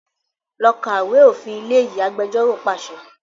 Lọ kà ìwé òfin ilé yìí! Agbẹjọ́ró pàṣẹ.